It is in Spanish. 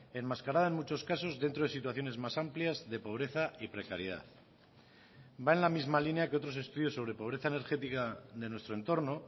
enmascarada en muchos casos dentro de situaciones más amplias de pobreza y precariedad va en la misma línea que otros estudios sobre pobreza energética de nuestro entorno